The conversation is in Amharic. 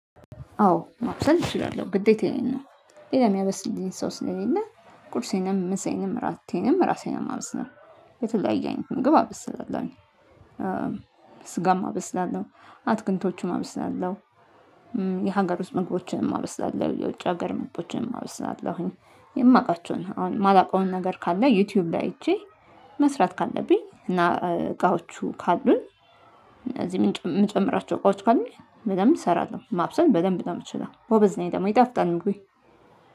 አዎ ማብሰል እችላለሁ ግዴታዬን ነው። ሌላ የሚያበስልኝ ሰው ስለሌለ ቁርሴንም ምሳዬንም ራቴንም ራሴ ነው ማበስለሁ። የተለያየ አይነት ምግብ አበስላለሁኝ። እም ስጋም አበስላለሁ አትክልቶቹም አብስላለሁ። የሀገር ውስጥ ምግቦችንም አብስላለሁ የውጭ ሀገር ምግቦችንም አብስላለሁኝ። የማውቃቸውን አሁን የማላውቀውን ነገር ካለ ዩቲዩብ ላይ ሄጄ መስራት ካለብኝ እና እ እቃዎቹ ካሉን። እዚህ ምጨ የምጨምራቸው እቃዎች ካሉኝ በደንብ እንሰራሁ ማብሰል በደንብ ነው ምትችለው ጎበዝ ነኝ ደግሞ ይጠፍጣል ምግቤ።